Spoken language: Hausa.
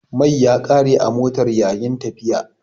Mai ya kare a motan yayi'n tafiya.